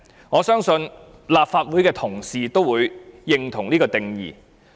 我相信，立法會的同事都會認同這個定義。